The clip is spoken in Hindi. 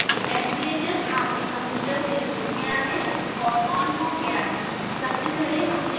निश्चित कर लें कि sbhs आपके कंप्यूटर से जुड़ गया है और on हो गया है